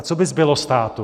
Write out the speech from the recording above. A co by zbylo státu?